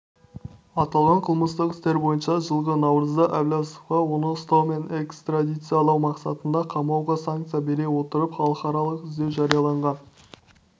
аталған қылмыстық істер бойынша жылғы наурызда әбләзовқа оны ұстау мен экстрадициялау мақсатында қамауға санкция бере отырып халықаралық іздеу жарияланған